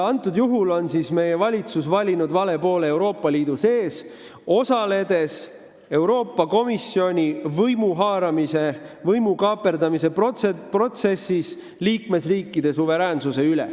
Nüüd on meie valitsus valinud vale poole Euroopa Liidu sees, osaledes Euroopa Komisjoni võimu haaramise, võimu kaaperdamise protsessis, mis vähendab liikmesriikide suveräänsust.